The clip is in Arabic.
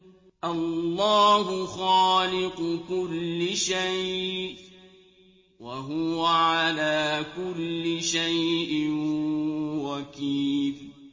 اللَّهُ خَالِقُ كُلِّ شَيْءٍ ۖ وَهُوَ عَلَىٰ كُلِّ شَيْءٍ وَكِيلٌ